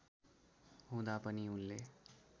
हुँदा पनि उनले